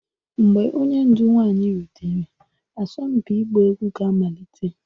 Mgbe onye ndu nwanyị rutere, asọmpi ịgba egwu ga-amalite